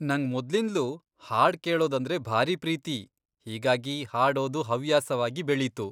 ನಂಗ್ ಮೊದ್ಲಿಂದ್ಲೂ ಹಾಡ್ ಕೇಳೋದಂದ್ರೆ ಭಾರಿ ಪ್ರೀತಿ, ಹೀಗಾಗಿ ಹಾಡೋದು ಹವ್ಯಾಸವಾಗಿ ಬೆಳೀತು.